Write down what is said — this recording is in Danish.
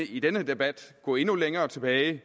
i denne debat gå endnu længere tilbage i